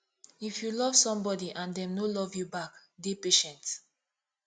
if you love somebody and dem no love you back dey patient